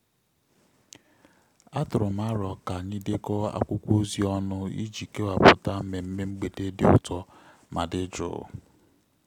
a tụrụ m m arọ ka anyị dekọ akwụkwọ ozi ọnụ iji kewaputa mmemme mgbede dị ụtọ ma dị jụụ